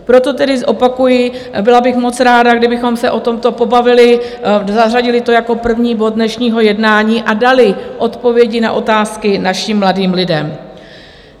Proto tedy zopakuji, byla bych moc ráda, kdybychom se o tomto pobavili, zařadili to jako první bod dnešního jednání a dali odpovědi na otázky našim mladým lidem.